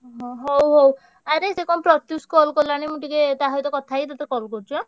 ହୁଁ ହ~ ହଉ ହଉ ଆରେ ସେ କଣ ପ୍ରତ୍ୟୁଷ call କଲାଣି ମୁଁ ଟିକେ ତା ସହିତ କଥା ହେଇ ତତେ call କରୁଚି ଆଁ?